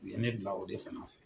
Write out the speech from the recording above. U ye ne bila o de fana fɛ